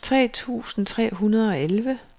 tre tusind tre hundrede og elleve